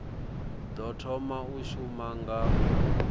ḓo thoma u shuma nga